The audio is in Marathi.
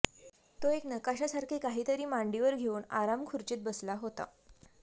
तो एक नकाशासारखे काहीतरी मांडीवर घेऊन आरामखुर्चीत बसला होता